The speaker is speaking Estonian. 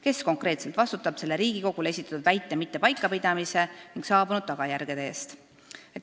Kes konkreetselt vastutab selle Riigikogule esitatud väite mitte paikapidamise ning saabunud tagajärje eest?